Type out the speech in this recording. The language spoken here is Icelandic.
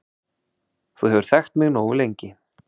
Þú hefur þekkt mig nógu lengi